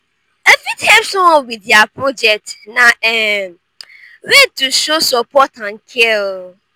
i fit help someone with dia project; na um way to show support and care.